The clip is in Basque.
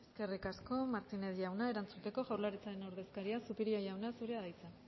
eskerrik asko martínez jauna erantzuteko jaurlaritzaren ordezkaria zupiria jauna zurea da hitza